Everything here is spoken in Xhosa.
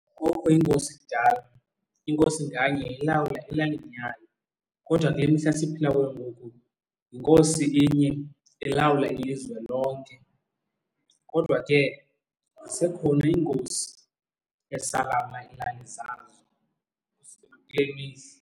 Kwakukho iinkosi kudala, inkosi nganye yayilawula elalini yayo kodwa kule mihla siphila kuyo ngoku yinkosi inye ilawula ilizwe lonke. Kodwa ke zisekhona iinkosi ezisalawula ilali zazo kule mihla.